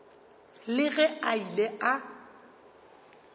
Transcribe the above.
le ge a ile a